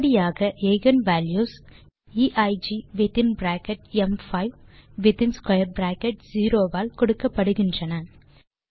இப்படியாக eigenvalues எய்க் within bracket ம்5 வித்தின் ஸ்க்வேர் பிராக்கெட் 0 ஆல் கொடுக்கப்படுகின்றன